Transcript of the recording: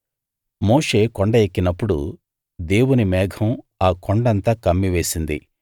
మోషే కొండ ఎక్కినప్పుడు దేవుని మేఘం ఆ కొండంతా కమ్మివేసింది